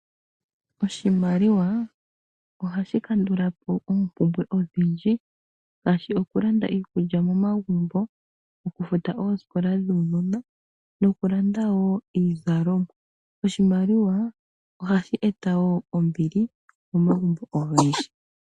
Oshimaliwa ohashi kandulapo oombumbwe odhindji ngaashi okulanda iikulya momagumbo, okufuta oosikola dhuunona noku landa wo iizalomwa oshimaliwa ohashi eta wo ombili momagumbo ogendji.